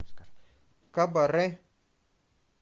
кабаре